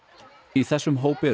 í þessum hópi